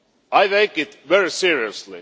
I take it very seriously.